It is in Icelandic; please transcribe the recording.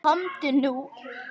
Komdu nú!